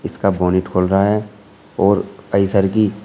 इसका बोनिट खोल रहा है और आइसर की--